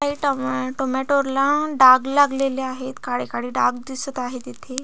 काही tom tomato ला डाग लागलेले आहेत काळे काळे डाग दिसत आहेत इथे--